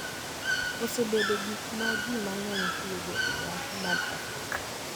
Osebedo gik ma ji mang’eny tiyogo e nyasi mar Paska, .